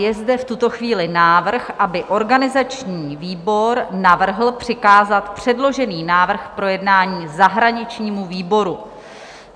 Je zde v tuto chvíli návrh, aby organizační výbor navrhl přikázat předložený návrh k projednání zahraničnímu výboru.